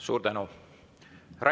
Suur tänu!